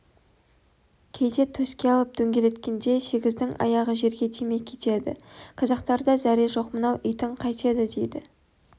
кейде төске алып дөңгелеткенде сегіздің аяғы жерге тимей кетеді қазақтарда зәре жоқ мынау итің қайтеді дейді